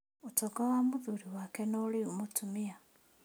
ũtonga wa mũthuri wake no rĩu mũtumia